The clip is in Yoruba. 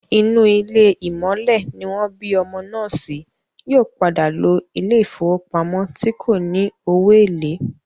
Inú ilé ìmọ̀le ní wọ́n bí ọmọ náà sí, yóò padà lo ilé ìfowópamọ́ tí kò ní owó èlé